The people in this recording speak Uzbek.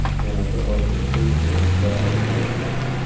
Yana bir oydan so‘ng finalchilar aniqlanadi.